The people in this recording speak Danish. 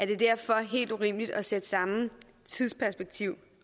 det er derfor helt urimeligt at sætte samme tidsperspektiv